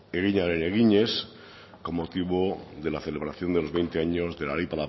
eginaren eginez con motivo de la celebración de los veinte años de la ley